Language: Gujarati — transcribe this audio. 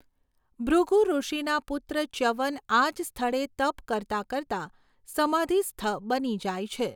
ભૃગુઋષિના પુત્ર ચ્યવન આજ સ્થળે તપ કરતાં કરતાં સમાધિસ્થ બની જાય છે.